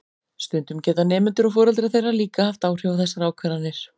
Stundum geta nemendur og foreldrar þeirra líka haft áhrif á þessar ákvarðanir.